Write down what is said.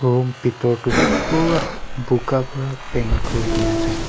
room bitor tu pura buka pra paint kurna ase.